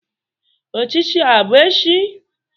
Ochichi a bu echi?